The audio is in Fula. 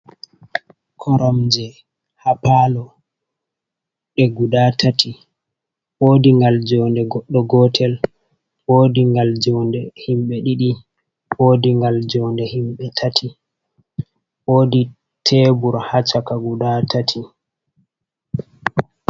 Koromje hapalo ,e guda tati wodigal jode goddo gotel, wodi gal jode himɓe ɗidi, wodi gal jode himɓe tati, wodi tebur ha chaka guda tati.